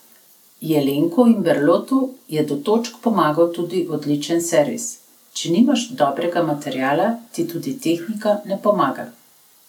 Jelenku in Berlotu je do točk pomagal tudi odličen servis: 'Če nimaš dobrega materiala, ti tudi tehnika ne pomaga.